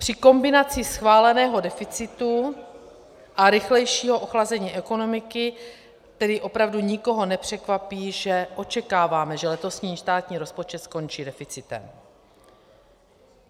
Při kombinaci schváleného deficitu a rychlejšího ochlazení ekonomiky tedy opravdu nikoho nepřekvapí, že očekáváme, že letošní státní rozpočet skončí deficitem.